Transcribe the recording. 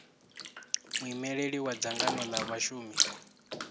muimeli wa dzangano la vhashumi